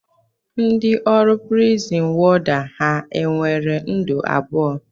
Ndị ọrụ prizin wọda ha nwere ndụ abụọ?